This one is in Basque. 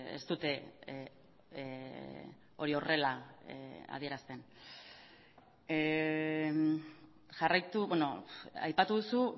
ez dute hori horrela adierazten jarraitu aipatu duzu